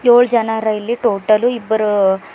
ಏಳು ಜನ ಅರ ಇಲ್ಲಿ ಟೋಟಲು ಇಬ್ಬರು--